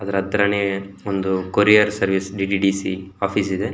ಅದ್ರ ಹತ್ರನೇ ಒಂದು ಕೊರಿಯರ್ ಸರ್ವಿಸ್ ಡಿ.ಟಿ.ಡಿ.ಸಿ. ಆಫೀಸ್ ಇದೆ.